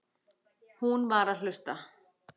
Hún var að hlusta.